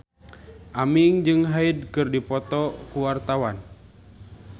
Aming jeung Hyde keur dipoto ku wartawan